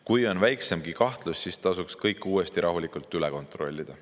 Kui on väiksemgi kahtlus, siis tasuks kõik uuesti rahulikult üle kontrollida.